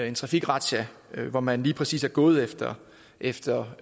en trafikrazzia hvor man lige præcis var gået efter efter